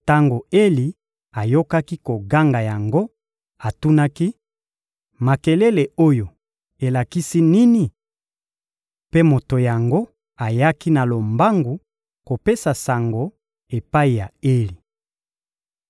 Tango Eli ayokaki koganga yango, atunaki: — Makelele oyo elakisi nini? Mpe moto yango ayaki na lombangu kopesa sango epai ya Eli.